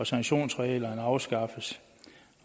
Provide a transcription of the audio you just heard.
sanktionsreglerne afskaffes